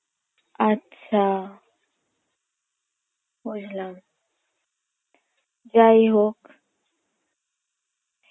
আচ্ছা বুঝলাম যাইহোক